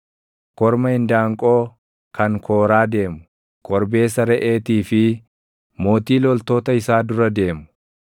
korma indaanqoo kan kooraa deemu, korbeessa reʼeetii fi, mootii loltoota isaa dura deemu.